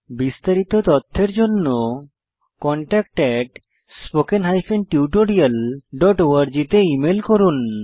বিস্তারিত তথ্যের জন্য contactspoken tutorialorg তে ইমেল করুন